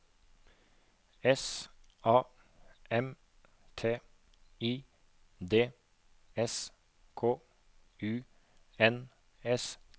S A M T I D S K U N S T